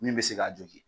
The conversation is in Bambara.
Min bɛ se k'a jogin